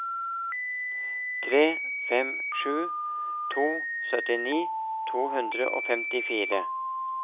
tre fem sju to syttini to hundre og femtifire